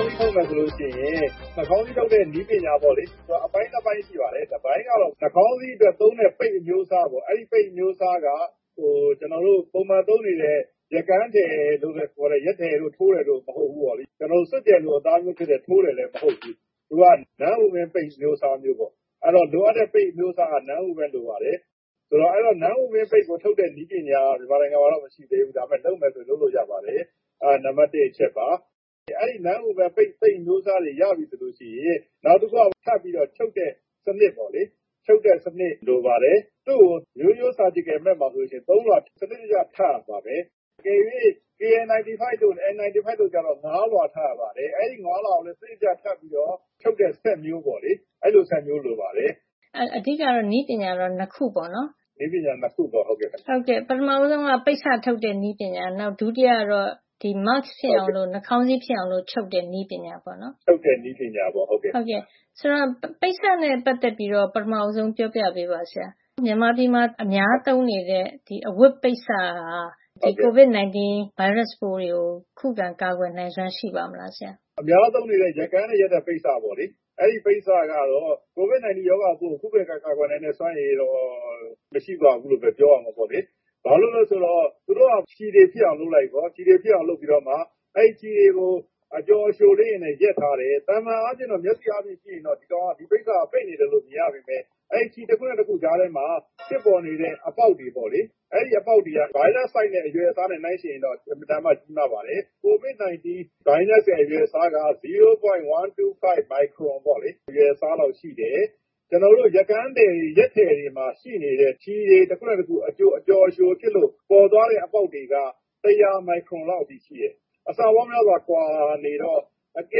ည်း ထုတ်မယ် ဆိုလို့ရှိရင် နှာခေါင်းစည်းထုတ်တဲ့ နည်းပညာပေါ့လေ၊ သူက အပိုင်း ၂ ပိုင်းရှိပါတယ်။ တပိုင်းကတော့ နှာခေါင်းစည်း အတွက် သုံးတဲ့ ပိတ်အမျိုးအစားပေါ့။ အဲဒီပိတ်အမျိုးအစားက ကျနော်တို့ ပုံမှန်သုံးနေတဲ့ ရက်ကန်းထည်လို့ ခေါ်တဲ့ ရက်ထည်တို့ ကြိုးထည်တို့ မဟုတ်ဖူး၊ စွပ်ကျယ်လို အသားမျိုးဖြစ်တဲ့ ကြိုးထည်လည်း မဟုတ်ဖူး။ သူက non-woven ပိတ်အမျိုးအစားမျိုးပေါ့။ အဲဒီလိုပေါ့ လိုအပ်တဲ့ ပိတ်အမျိုးအစားက non-woven လိုပါတယ်။ ဒီ non-woven ကိုထုတ်တဲ့ နည်းပညာက မြန်မာနိုင်ငံမှာတော့ မရှိသေးဘူး။ ဒါပေမယ့် လုပ်မယ် ဆိုရင်တော့ လုပ်လို့ရပါတယ်။ အဲဒါက နံပတ် ၁ အချက်ပါ။ အဲဒီ ရက်ထည်မဟုတ်တဲ့ non-woven ပိတ်အမျိုးအစားကို ရပြီဆိုရင် နောက်တခုက စပြီး ချုပ်တဲ့ စံနစ်ပေါ့လေ။ ချုပ်တဲ့စံနစ် လိုပါတယ်။ သူ့ကို ရိုးရိုး surgical mask - ခွဲစိတ်ခန်းသုံး နှာခေါင်းစည်းမှာ ဆိုရင် ၃ လွှာ စံနစ်တကျ ထပ်ရပါတယ်။ တကယ်လို့ KN- 95 တို့ N-95 တို့ ဆိုရင်တော့ ၅ လွှာ ထပ်ရပါတယ်။ အဲဒီ ၅ လွှာကို စံနစ်တကျ ထပ်ပြီးတော့ ထုတ်တဲ့ စက်မျိုးပေါ့လေ။ အဲဒီလို စက်မျိုး လိုပါတယ်။” “အဲဒါဆို နည်းပညာက အဓိက ၂ ခုပေါ့နော်။” “ဟုတ်ကဲ့ ၂ ခုပါ။” “ပထမဆုံးက ပိတ်စထုတ်တဲ့ နည်းပညာ၊ ဒုတိယကတော့ ဒီ mask ဖြစ်အောင် နှာခေါင်းစည်း ဖြစ်အောင် ချုပ်တဲ့ နည်းပညာပေါ့။ ဆိုတော့ ပိတ်စနဲ့ ပတ်သက်ပြီး ပထမ ပြောပြပေးပါဆရာ။ မြန်မာပြည်မှာ အများသုံးနေတဲ့ အဝတ်ပိတ်စက ဒီကိုဗစ် ၁၉ ဗိုင်းရပ်စ်ပိုးကို ခုခံကာကွယ်နိုင်စွမ်း ရှိပါ့မလားဆရာ” “အများသုံးနေတဲ့ ရက်ကန်းနဲ့ ရက်တဲ့ပိတ်စပေါ့လေ။ အဲဒီပိတ်စကတော့ ကိုဗစ် ၁၉ ရောဂါပိုးကို ခုခံကာကွယ်နိုင်တဲ့ စွမ်းအင်တော့ မရှိပါဘူးလို့ပဲ ပြောရမှာ ပေါ့လေ။ ဘာလို့လည်း ဆိုတော့ သူတို့က ချည်ထည်ဖြစ်အောင်လုပ်လိုက်ရော၊ ပြီးတော့မှ အဲဒီချည်တွေကို အကျော် အကြိုလေးတွေနဲ့ ရက်ထားတယ်။ သာမန် မျက်စိအားနဲ့ကြည့်ရင်တော့ ဒီပိတ်စက ပိတ်နေတယ်လို့ မြင်ရပေမယ့် အဲ့ဒီ ချည် တခုနဲ့ တခု ကြားထဲမှာ ဖြစ်ပေါ်နေတဲ့ အပေါက်တွေ ပေါ့လေ။ အဲဒီ အပေါက်တွေက ဗိုင်းရပ်စ် အရွယ်အစားနဲ့ နှိုင်းယှဉ်ရင်တော့ အင်မတန်မှ ကြီးမားပါတယ်။ ကိုဗစ် ၁၉ ဗိုင်းရပ်စ်ရဲ့ အရွယ်အစားက ဝ.၁၂၅ မိုက်ခရွန် အရွယ်အစားနဲ့ ရှိနေတယ်။ ကျနော်တို့ ရက်ကန်း ရက်ထည်တွေမှာ ရှိနေတဲ့ ချည်တွေ တခုနဲ့တခု အကျော်အကြိုဖြစ်လို့ ပေါ်လာတဲ့ အပေါက်တွေက ၁၀၀ မိုက်ခရွန်လောက် အထိ ရှိတယ်။ အဆက အဲဒီလောက်ကွာနေတော့ တက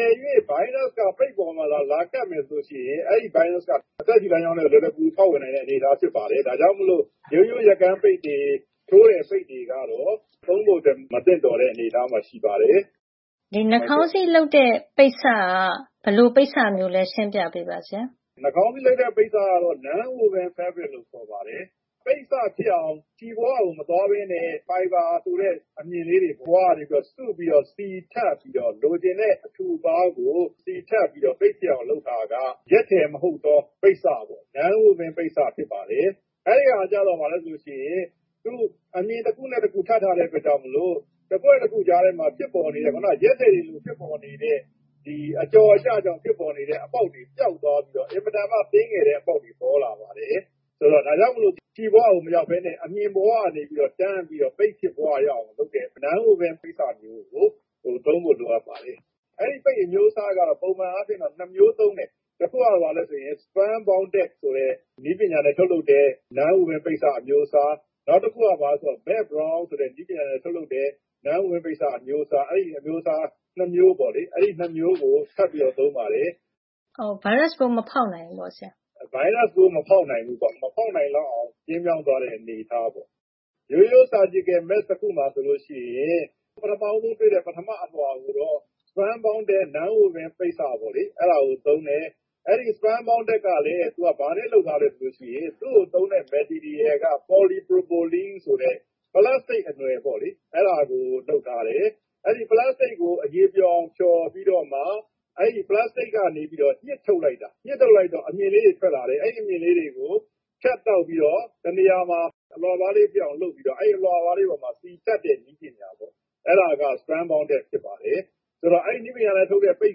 ယ်လို့ ဗိုင်းရပ်စ်က ပိတ်ပေါ်မှာ လာကပ်မယ် ဆိုရင် အဲဒီ ဗိုင်းရပ်စ်က အသက်ရှုလမ်းကြောင်းထဲကို လွယ်လွယ်ကူကူ ဖေါက်ဝင်နိုင်မယ့် အနေထား ဖြစ်ပါတယ်။ ဒါကြောင့်မို့ ရိုးရိုးရက်ကန်းပိတ်တွေ၊ ထိုးတဲ့ပိတ်တွေကတော့ သုံးဖို့အတွက် မသင့်တော်တဲ့ အနေအထားမှာ ရှိပါတယ်။” “အဲဒါဆို နှာခေါင်းစည်းလုပ်တဲ့ ပိတ်စက ဘယ်လိုပိတ်စလဲ ရှင်းပြပေးပါဆရာ။” “နှာခေါင်းစည်း လုပ်တဲ့ ပိတ်စကတော့ non-woven fabric ရက်ထည်မဟုတ်တဲ့ ပိတ်စ ဖြစ်ပါတယ်။ ပိတ်စဖြစ်အောင် လုပ်တဲ့ အခါမှာ ချည်ဘဝကို မသွားပဲနဲ့ ဖိုင်ဘာ ဆိုတဲ့ အမ ျှင်ကလေးတွေ ဘဝက နေပြီးတော့ စုပြီးတော့ လိုချင်တဲ့ အထူအပါးကို စီထပ်ပြီးတော့ ပိတ်ဖြစ်အောင် လုပ်ထားတာပါ။ ရက်ထည် မဟုတ်သော ပိတ်စပေါ့ non-woven ပိတ်စ ဖြစ်ပါတယ်။ အဲဒါကျတော့ ဘာလဲဆိုရင် အမ ျှင်တခုနဲ့ တခု ထပ်ထားတဲ့ ကိစ္စမို့လို့ အကွက် ၂ ခု ကြားထဲမှာ ဖြစ်ပေါ်နေတဲ့၊ ရက်ထည်တွေလို ဖြစ်ပေါ်နေတဲ့၊ ဒီ အကျော် အကျကြောင့် ဖြစ်ပေါ်နေတဲ့ အပေါက်က ပျောက်သွားပြီးတော့ အင်မတန်မှ သေးငယ်တဲ့ အပေါက်တွေ ပေါ်လာပါတယ်။ ဒါကြောင့်မို့လို့ ချည်ဘဝကို မရောက်ပဲနဲ့. အမ ျှင်ဘဝက နေပြီးတော့ တန်းပြီးတော့ ပိတ်ဖြစ်သွားရအောင် လုပ်တဲ့ non-woven ပိတ်စတွေကို သုံးဖို့ လိုအပ်ပါတယ် အဲဒီ ပိတ်အမျိုးအစားက ပုံမှန်အားဖြင့် ၂ မျိုး သုံးတယ်။ တခုက ဘာလဲဆိုရင် spun bonded ဆိုတဲ့ နည်းပညာနဲ့ ထုတ်လုပ်တဲ့ non-woven ပိတ်စ အမျိုးအစား။ နောက်တခုက ဘာလဲဆိုရင် melt blown ဆိုတဲ့နည်းပညာနဲ့ ထုတ်တဲ့ non-woven ပိတ်စ အမျိုးအစား။ အဲဒီ ၂ မျိုးကို ထပ်ပြီးတော့ သုံးပါတယ်။” “ အဲဒါ။ ဗိုင်းရပ်စ်ပိုး မဖေါက်နိုင်ဘူးပေါ့ဆရာ။” “ဗိုင်းရပ်စ်ပိုး မဖေါက်နိုင်ဘူးပေါ့။ မဖေါက်နိုင်လောက်အောင် ကျဉ်းမြောင်းသွားတဲ့ အနေအထား။ ရိုးရိုး ခွဲစိပ်ခန်းသုံး နှာခေါင်းစည်း တခု မှာ ဆိုရင် ပထမဦးဆုံး တွေ့တဲ့. ပထမ အလွှာ ကိုတော့ spun bonded non-woven ပိတ်စကို သုံးတယ်။ အဲဒီ spun bonded က ဘာနဲ့လုပ်ထားသလဲ ဆိုရင် သူ့ကို သုံးတဲ့ပစ္စည်းက ပေါ်လီပရိုပလင်း ဆိုတဲ့ ပလပ်စတိတ် အနွယ်ပေါ့လေ။ အဲဒါကို လုပ်ထားတယ်။ အဲဒီ ပလပ်စတိတ်ကို အရည်ပျော်အောင် ဖျော်ပြီးတော့မှ အဲဒီ ပလပ်စတိတ်ကနေ ညှစ်ထုတ်လိုက်တာ။ ညှစ်ထုတ်လိုက်တော့ အမ ျှင်ကလေးတွေ ထွက်လာတယ်။ အဲဒီ အမ ျှင်ကလေးတွေကို ဖြတ်တောက်ပြီးတော့ တနေရာမှာ အလွှာပါးလေးဖြစ်အောင် လုပ်ပြီးတော့ အဲဒီ အလွှာပါးကလေးပေါ်မှာ စီထပ်တဲ့ နည်းပညာပေါ့နော်။ အဲဒါက spun bonded ဖြစ်ပါတယ်။ အဲဒီတော့ အဲဒီနည်းပညာနဲ့ ထုတ်တဲ့ ပိတ်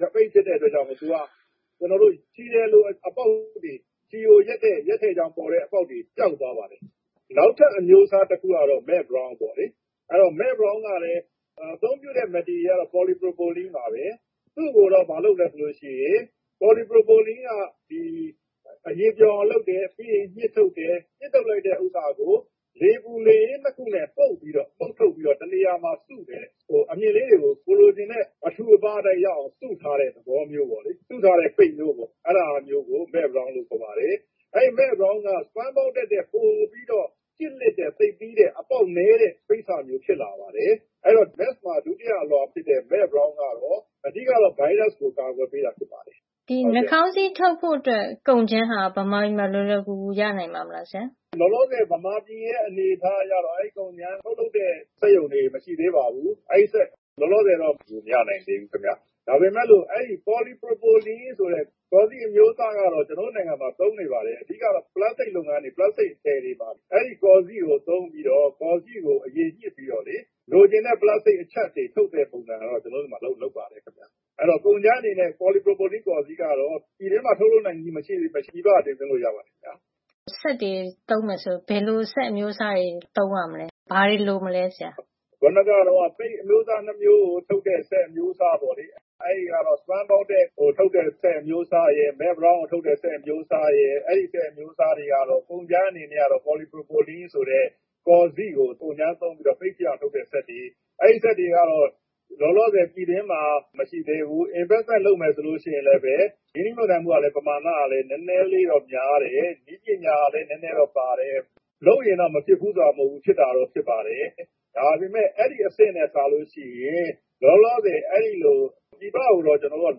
ဖြစ်တဲ့ အတွက်ကြောင့်မို့၊ ချည်ထည်လို အပေါက်တွေ၊ ချည်ကို ရက်တဲ့ ရက်ထည်ကြောင့်ပါတဲ့ အပေါက်တွေ၊ ပျောက်သွားတာ ပေါ့နော်။ နောက်ထပ်အမျိုးအစား တခုကတော့ melt blown ပေါ့လေ။ သူက အသုံးပြုတဲ့ ပစ္စည်းကလည်း ပေါ်လီ ပရိုပလင်းပါပဲ။ သူ့ကိုလည်း ဘာလုပ်သလဲဆိုရင် အဲဒီ ပေါ်လီပရိုပလင်း ကို အရည်ပျော်အောင် လုပ်တယ်။ ပြီးရင်ညှစ်ထုတ်တယ်။ ညှစ်ထုတ်လိုက်တဲ့ ဥစ္စာကို လေပူလေအေး ၂ ခုနဲ့ ပုတ်ပြီးတော့ ညှစ်ထုတ်ပြီးတော့ တနေရာမှာ စုတယ်။ အမ ျှင်ကလေး တွေကို ကိုယ်လိုချင်တဲ့ အထူအပါး အတိုင်းရအောင် စုထားတဲ့ သဘောမျိုး ပဲလေ။ စုထားတဲ့ ပိတ်မျိုးပေါ့။ အဲဒါ မျိုးကို melt blown လို့ခေါ်ပါတယ်။ အဲဒီ melt blown က spun bonded ထက်ပိုပြီးတော့ ကျစ်လစ်တဲ့ သိပ်သည်းတဲ့ အပေါက်နဲတဲ့ ပိတ်စမျိုး ဖြစ်လာပါတယ်။ အဲဒီတော့ နှာခေါင်းစည်း mask မှာ ဒုတိယအလွှာ ဖြစ်တဲ့ melt blown ကတော့ အဓိက ဗိုင်းရပ်စ်ကို အကာကွယ် ပေးတာ ဖြစ်ပါတယ်။” “ဒီနှာခေါင်းစည်း ထုတ်ဖို့အတွက် ကုန်ကြမ်းဟာ မြန်မာပြည်မှာ လွယ်လွဝ်ကူကူ ရနိုင်ပါ့မလား ဆရာ” “လောလောဆယ် မြန်မာပြည်ရဲ့ အနေအထားကတော့ အဲဒီကုန်ကြမ်း ထုတ်လုပ်တဲ့ စက်ရုံတွေ မရှိသေးပါဘူး။ အဲဒီအတွက် လောလောဆယ်တော့ မရနိုင်သေးဘူး ခင်ဗျ။ ဒါပေမယ့်လို့ အဲဒီ ပေါ်လီပရိုပလင်း ဆိုတဲ့ ကော်စေ့ အမျိုးအစားကတော့ ကျနော်တို့ နိုင်ငံမှာ သုံးနေပါတယ်။ အဓိက ပလပ်စတိတ် လုပ်ငန်းတွေ ပလပ်စတိတ်ထည်တွေမှာ အဲဒီ ကော်စေ့ကို သုံးပြီးတော့၊ ကော်စေ့ကို အရည်ညှစ်ပြီးတော့ လိုချင်တဲ့ ပလပ်စတိတ် အချပ်တွေ ထုတ်တဲ့ ပုံစံကတော့ ကျနော်တို့ ဆီမှာ လုပ်ပါတယ်ခင်ဗျ။ အဲဒီတော့ ကုန်ကြမ်း အနေနဲ့ ပေါ်လီပရိုပလင်ကို ပြည်တွင်းမှာ ထုတ်လုပ်နိုင်ခြင်း မရှိပေမယ့် ပြည်ပက တင်သွင်းလို့ ရပါတယ်ခင်ဗျ။” “စက်တွေ သုံးရမယ်ဆိုရင် ဘယ်လို စက်အမျိုးအစားတွေ သုံးရမလဲ၊ ဘာတွေ လိုမလဲ ဆရာ။” “ခုနက တုန်းက ပိတ်အမျိုးအစား ၂ မျိုးကို ထုတ်တဲ့ စက်အမျိုးအစား ပေါ့လေ။ အဲဒါကတော့ spun bonded ကိုထုတ်တဲ့ စက်အမျိုးအစားရယ်၊melt blown ကိုထုတ်တဲ့ စက်အမျိုးစားရယ်၊ အဲဒီ စက်အမျိုးစားတွေအတွက် ကုန်ကြမ်းကတော့ ပေါ်လီ. ပရိုပလင်း ဆိုတဲ့ ကော်စေ့ကို ကုန်ကြမ်းသုံးပြီးတော့ ပိတ်ဖြစ်အောင် ထုတ်တဲ့ စက်တွေပါ။ အဲဒီ စက်တွေကတော့ လောလောဆယ် ပြည်တွင်းမှာ မရှိသေးဘူး။ ရင်းနှီးမြှုပ်နှံမယ် ဆိုရင်လည်းပဲ ပမာဏက နဲနဲလေးတော့ များတယ်။ နည်းပညာကလည်း နဲနဲတော့ ပါတယ်။ လုပ်ရင်တော့ မဖြစ်ဖူး ဆိုတာ မဟုတ်ဖူး။ ဖြစ်တာတော့ ဖြစ်ပါတယ်။ ဒါပေမယ့် အဲဒီ အဆင့်နဲ့ စာလို့ရှိရင် လောလောဆယ် အဲဒီလို ပြည်ပကိုချည်းပဲ ကျနော်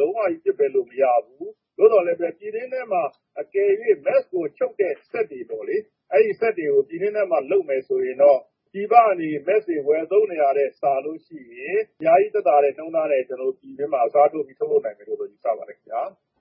တို့က လုံးဝ ပစ်ပယ်လို့ မရဘူး။ သို့သော် အကယ်လို့ ပြည်တွင်းထဲမှာ mask ကို ထုတ်တဲ့ စက်ကိုပေါ့လေ။ အဲလိုစက်တွေကို ပြည်တွင်းထဲမှာ လုပ်မယ် ဆိုရင်တော့ ပြည်ပကနေ နှာခေါင်းစည်း တွေ ဝယ်သုံးနေတာထက် စာလို့ရှိရင် အများကြီး သက်သာတဲ့ နှုန်းထားနဲ့ ကျနော်တို့ ပြည်တွင်းမှာ အစားထိုးပြီး ထုတ်လုပ် နိုင်မယ်လို့ ယူဆပါတယ် ခင်ဗျာ။”